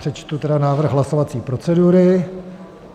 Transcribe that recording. Přečtu tedy návrh hlasovací procedury: